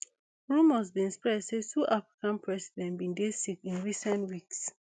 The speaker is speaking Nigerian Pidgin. rumours bin spread say two african president bin dey sick in recent weeks